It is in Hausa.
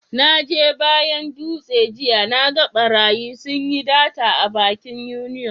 Na je bayan Dutse jiya, na gan barayi sun yi data a bankin union.